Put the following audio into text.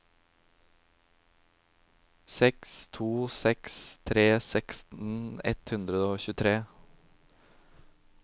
seks to seks tre seksten ett hundre og tjuetre